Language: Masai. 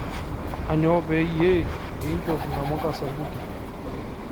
Aanyo payie inchop namuka sapuki